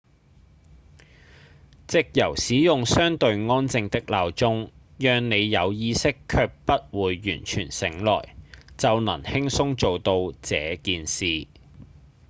藉由使用相對安靜的鬧鐘讓你有意識卻不會完全醒來就能輕鬆做到這件事